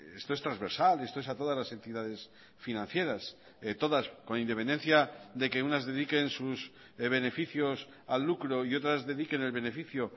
esto es transversal esto es a todas las entidades financieras todas con independencia de que unas dediquen sus beneficios al lucro y otras dediquen el beneficio